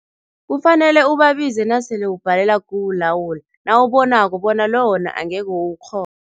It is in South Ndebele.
Kufanele ubabize nasele ubhalela kuwulawula, nawubonako bona lo wona angeke uwukghone.